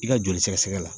I ka joli sɛgɛsɛgɛ la